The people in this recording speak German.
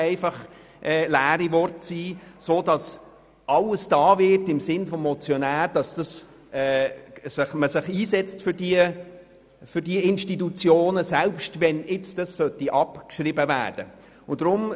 Wir sind sicher, dass alles im Sinn des Motionärs getan wird, um diese Institutionen zu erhalten, selbst wenn die Motion abgeschrieben werden sollte.